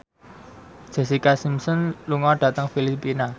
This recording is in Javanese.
Jessica Simpson lunga dhateng Filipina